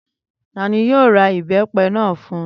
Tani yóò ra ìbẹ́pẹ náà fún?